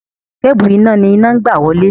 Kébùù iná ni iná ń gbà wọlé.